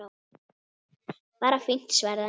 Bara fínt- svaraði hann.